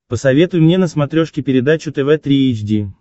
посоветуй мне на смотрешке передачу тв три эйч ди